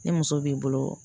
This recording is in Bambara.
Ni muso b'i bolo